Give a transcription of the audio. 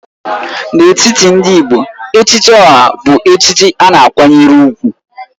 N'etiti ndị Igbo, Echichi Oha bụ echichi a na-akwanyere ùgwù